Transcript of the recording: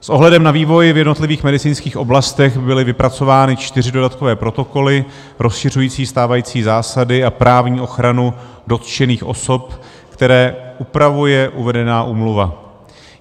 S ohledem na vývoj v jednotlivých medicínských oblastech byly vypracovány čtyři dodatkové protokoly rozšiřující stávající zásady a právní ochranu dotčených osob, které upravuje uvedená úmluva.